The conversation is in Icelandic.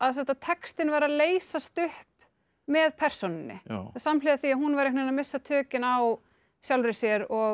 textinn væri að leysast upp með persónunni samhliða því að hún væri að missa tökin á sjálfri sér og